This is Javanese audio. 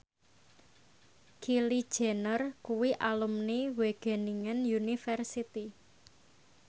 Kylie Jenner kuwi alumni Wageningen University